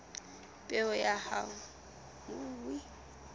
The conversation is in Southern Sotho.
peo ya ona e ka